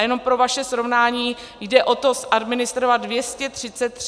A jenom pro vaše srovnání, jde o to zadministrovat 233 tis. projektů.